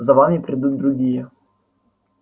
за вами придут другие